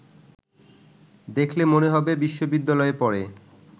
দেখলে মনে হবে বিশ্ববিদ্যালয়ে পড়ে